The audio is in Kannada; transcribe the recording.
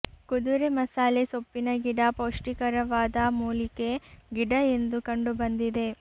ಕುದುರೆ ಮಸಾಲೆ ಸೊಪ್ಪಿನಗಿಡ ಪೌಷ್ಟಿಕರವಾದ ಮೂಲಿಕೆ ಗಿಡ ಎಂದು ಕಂಡು ಬಂದಿದೆ